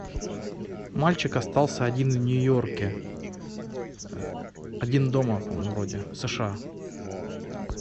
мальчик остался один в нью йорке один дома вроде сша